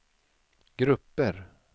grupper